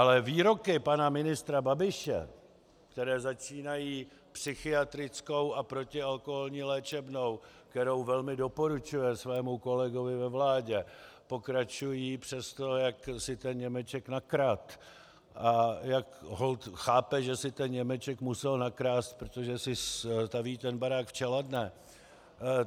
Ale výroky pana ministra Babiše, které začínají psychiatrickou a protialkoholní léčebnou, kterou velmi doporučuje svému kolegovi ve vládě, pokračují přes to, jak si ten Němeček nakradl a jak holt chápe, že si ten Němeček musel nakrást, protože si staví ten barák v Čeladné.